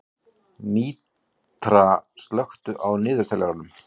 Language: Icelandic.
Mítra, slökktu á niðurteljaranum.